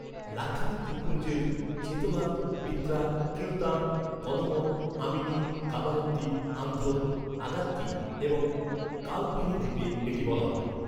লাক্ষাদ্বীপ দ্বীপপুঞ্জের চেতলাত, বিত্রা, কিলতান, কদমত, আমিনি, কাবারাত্তি, আন্দ্রোথ, আগাত্তি এবং কালপেনি দ্বীপে এটি বলা হয়।